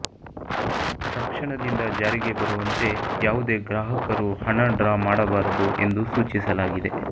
ತಕ್ಷಣದಿಂದ ಜಾರಿಗೆ ಬರುವಂತೆ ಯಾವುದೇ ಗ್ರಾಹಕರು ಹಣ ಡ್ರಾ ಮಾಡಬಾರದು ಎಂದು ಸೂಚಿಸಲಾಗಿದೆ